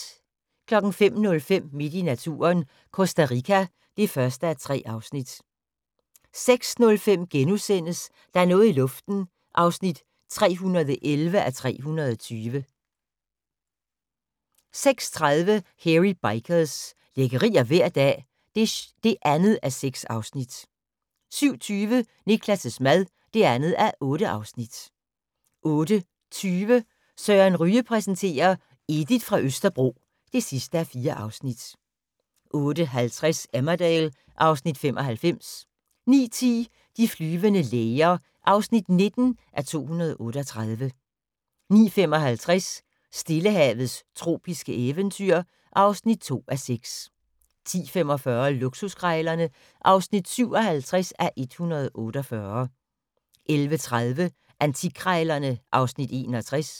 05:05: Midt i naturen – Costa Rica (1:3) 06:05: Der er noget i luften (311:320)* 06:30: Hairy Bikers – lækkerier hver dag (2:6) 07:20: Niklas' mad (2:8) 08:20: Søren Ryge præsenterer: Edith fra Østerbro (4:4) 08:50: Emmerdale (Afs. 95) 09:10: De flyvende læger (19:238) 09:55: Stillehavets tropiske eventyr (2:6) 10:45: Luksuskrejlerne (57:148) 11:30: Antikkrejlerne (Afs. 61)